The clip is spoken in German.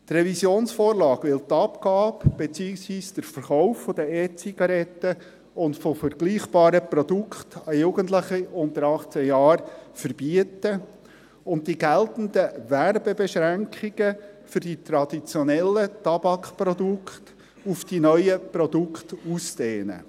Die Revisionsvorlage will die Abgabe beziehungsweise den Verkauf von E-Zigaretten und vergleichbaren Produkten an Jugendliche unter 18 Jahren verbieten und die geltenden Werbebeschränkungen für die traditionellen Tabakprodukte auf diese neuen Produkte ausdehnen.